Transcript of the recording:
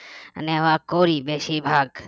নেওয়া করি বেশিভাগ